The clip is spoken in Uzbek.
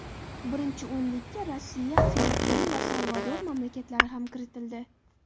Birinchi o‘nlikka Rossiya, Filippin va Salvador mamlakatlari ham kiritildi.